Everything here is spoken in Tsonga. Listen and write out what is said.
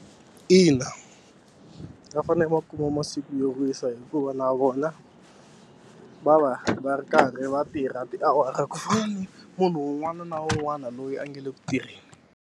Ina va fanele va kuma masiku yo wisa hikuva na vona va va va ri karhi va tirha tiawara ku fana na munhu un'wana na un'wana loyi a nga le ku tirheni.